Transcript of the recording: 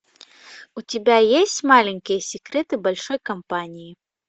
у тебя есть маленькие секреты большой компании